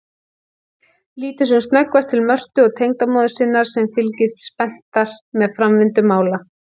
Lítur sem snöggvast til Mörtu og tengdamóður sinnar sem fylgjast spenntar með framvindu mála.